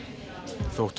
þótt